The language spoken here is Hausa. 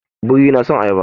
Biri yana son ayaba.